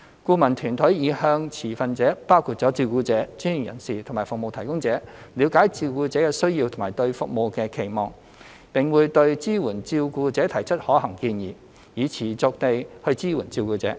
顧問團隊已向持份者包括照顧者、專業人士及服務提供者，了解照顧者的需要和對服務的期望，並會對支援照顧者提出可行建議，以持續地支援照顧者。